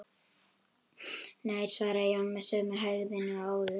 Nei, svaraði Jón með sömu hægðinni og áður.